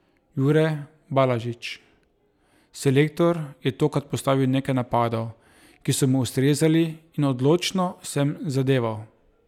Jure Balažič: "Selektor je tokrat postavil nekaj napadov, ki so mi ustrezali in odlično sem zadeval.